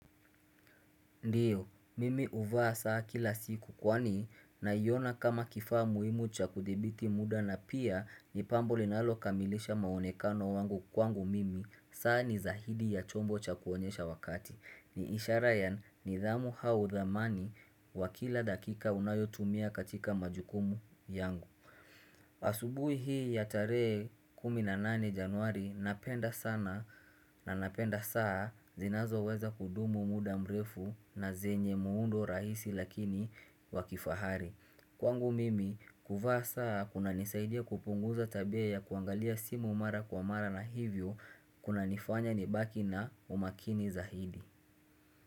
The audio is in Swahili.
Ndiyo, mimi uvaa saa kila siku kwani naiona kama kifaa muhimu cha kuthibiti muda na pia ni pambo linalo kamilisha maonekano wangu kwangu mimi saa ni zahidi ya chombo cha kuonyesha wakati ni ishara ya nidhamu hau dhamani wa kila dakika unayotumia katika majukumu yangu asubui hii ya tarehe kumi na nane januari napenda sana na napenda saa zinazo weza kudumu muda mrefu na zenye muundo rahisi lakini wakifahari Kwangu mimi kuvaa saa kuna nisaidia kupunguza tabia ya kuangalia simu mara kwa mara na hivyo kuna nifanya nibaki na umakini zahidi.